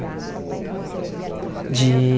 Professora do quê? De